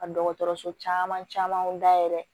Ka dɔgɔtɔrɔso camanw dayɛlɛ